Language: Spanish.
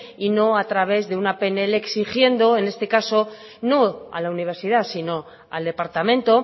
y no a través de una pnl exigiendo en este caso no a la universidad sino al departamento